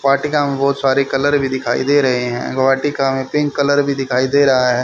वाटिका में बहोत सारी कलर भी दिखाई दे रहे हैं वाटिका में पिंक कलर भी दिखाई दे रहा है।